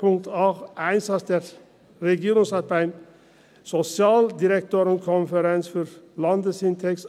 Punkt 8, Einsatz des Regierungsrates bei der SODK für den Landesindex: